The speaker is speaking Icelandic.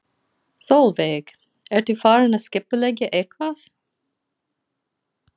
Sólveig: Ertu farin að skipuleggja eitthvað?